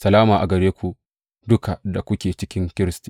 Salama gare ku duka da kuke cikin Kiristi.